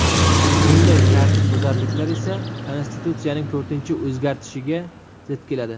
Bunday tartibbuzarliklar esa konstitutsiyaning to‘rtinchi o‘zgartishiga zid keladi.